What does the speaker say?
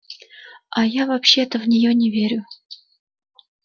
а я вообще в нее не верю